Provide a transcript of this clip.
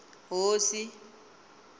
hosi